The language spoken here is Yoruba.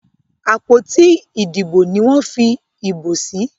àpótí Ìdìbò ní wón fí ìbò sí.